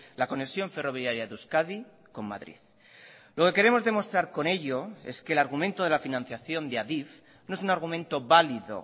la conexión ferroviaria de euskadi con madrid lo que queremos demostrar con ello es que el argumento de la financiación de adif no es un argumento válido